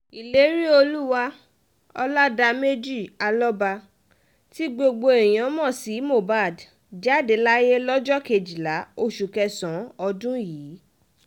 ìléríolúwà ọládàmejì alọ́ba tí gbogbo èèyàn mọ̀ sí mohbad jáde láyé lọ́jọ́ kejìlá oṣù kẹsàn-án ọdún yìí